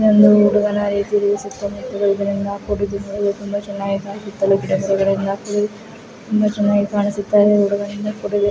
ಇಲ್ಲೊಂದು ಹುಡುಗನ ರೀತಿಯಲ್ಲಿ ಸುತ್ತಮುತ್ತಲು ಇದರಿಂದ ಕೂಡಿದ್ದು ನೋಡಲು ತುಂಬಾ ಚನ್ನಾಗಿ ಸುತ್ತಲು ಗಿಡಮರಗಳಿಂದ ಕುಯ್ ತುಂಬಾ ಚನ್ನಾಗಿ ಕಾಣಿಸುತ್ತಾ ಇದೆ ಈ ಹುಡುಗನಿಂದ ಕೂಡಿದೆ .